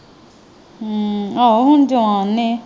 ਅਮ ਆਹੋ ਹੁਣ ਜਵਾਨ ਨੇ।